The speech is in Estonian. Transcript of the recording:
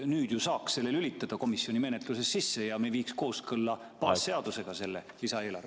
Nüüd ju saaks tulud lülitada komisjoni menetluses sisse ja me viiks selle lisaeelarve baasseadusega kooskõlla.